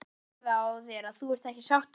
Maður sér það á þér að þú ert ekki sáttur?